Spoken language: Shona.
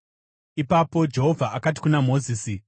Ipapo Jehovha akati kuna Mozisi,